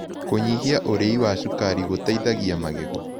Kũnyĩhĩa ũrĩĩ wa cũkarĩ ũteĩthagĩa wa magego